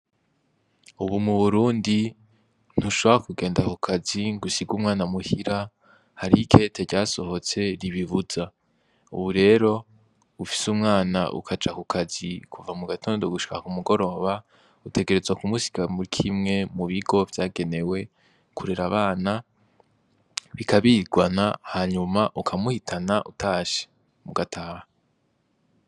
Ubu mu Burundi ntushobora kugenda kukazi ngo usige umwana muhira hariho ikete ryasohotse ribibuza, ubu rero ufise umwana ucaja kukazi kuva mugatondo gushika ku mugoroba utegerezwa kumusiga muri kimwe mu bigo vyagenewe kurera abana bikabirirwana hanyuma ukamuhitana utashe mugataha.